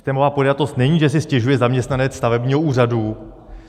Systémová podjatost není, že si stěžuje zaměstnanec stavebního úřadu.